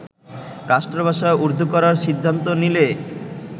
রাষ্ট্র ভাষা উর্দু করার সিদ্ধান্ত নিলে